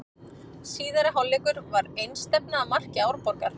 Síðari hálfleikur var einstefna að marki Árborgar.